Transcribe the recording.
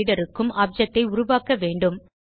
BufferedReaderக்கும் object ஐ உருவாக்க வேண்டும்